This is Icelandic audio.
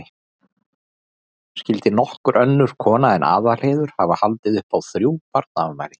Skyldi nokkur önnur kona en Aðalheiður hafa haldið upp á þrjú aldarafmæli?